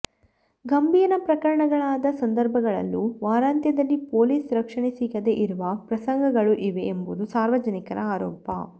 ಗಂಭೀರ ಪ್ರಕರಣಗಳಾದ ಸಂದರ್ಭಗಳಲ್ಲೂ ವಾರಾಂತ್ಯದಲ್ಲಿ ಪೊಲೀಸ್ ರಕ್ಷಣೆ ಸಿಗದೇ ಇರುವ ಪ್ರಸಂಗಗಳು ಇವೆ ಎಂಬುದು ಸಾರ್ವಜನಿಕರ ಆರೋಪ